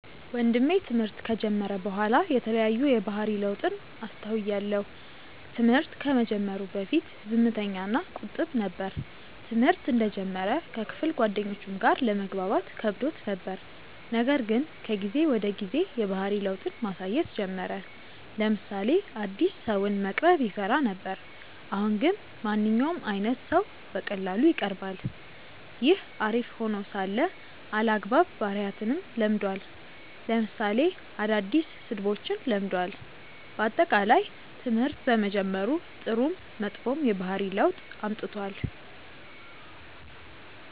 ወንድሜ ትምህርት ከጀመረ በኋላ የተለያዩ የባህሪ ለውጥን አስተውያለው። ትምህርት ከመጀመሩ በፊት ዝምተኛ እና ቁጥብ ነበር። ትምህርተ እንደጀመረ ከክፍል ጓደኞቹም ጋር ለመግባባት ከብዶት ነበር :ነገር ግን ከጊዜ ወደ ጊዜ የባህሪ ለውጥን ማሳየት ጀመረ : ለምሳሌ አዲስ ሰውን መቅረብ ይፈራ ነበር አሁን ግን ማንኛውም አይነት ሰው በቀላሉ ይቀርባል። ይህ አሪፍ ሄኖ ሳለ አልአግባብ ባህሪያትንም ለምዷል ለምሳሌ አዳዲስ ስድቦችን ለምዷል። በአጠቃላይ ትምህርት በመጀመሩ ጥሩም መጥፎም የባህሪ ለውጥ አምጥቷል።